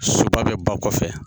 Soba bɛ ba kɔfɛ